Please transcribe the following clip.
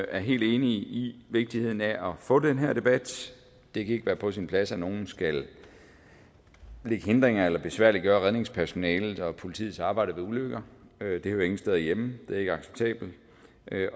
er helt enige i vigtigheden af at få den her debat det kan ikke være på sin plads at nogen skal lægge hindringer eller besværliggøre redningspersonalets og politiets arbejde ved ulykker det hører ingen steder hjemme det er ikke acceptabelt